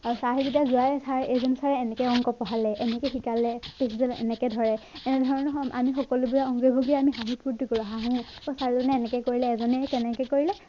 sir এইজন ছাৰে এনেকে অংক পঢ়ালে, এনেকে শিকালে এনেকে ধৰে এনেধৰণৰ আমি সকলোবোৰ অংগী ভংগী আমি হাঁহি ফুৰ্তি কৰো হাঁহো সৈ ছাৰজনে এনেকে কৰিলে এজনে হে তেনেকে কৰিলে